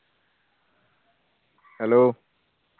hello